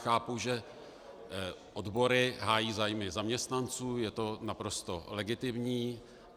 Chápu, že odbory hájí zájmy zaměstnanců, je to naprosto legitimní.